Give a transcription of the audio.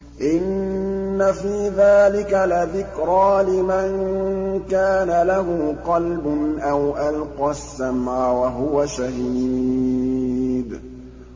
إِنَّ فِي ذَٰلِكَ لَذِكْرَىٰ لِمَن كَانَ لَهُ قَلْبٌ أَوْ أَلْقَى السَّمْعَ وَهُوَ شَهِيدٌ